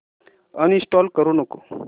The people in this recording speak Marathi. अनइंस्टॉल करू नको